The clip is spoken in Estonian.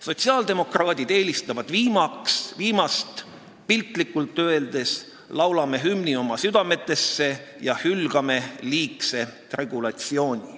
Sotsiaaldemokraadid eelistavad viimast, piltlikult öeldes, laulame hümni oma südametesse ja hülgame liigse regulatsiooni.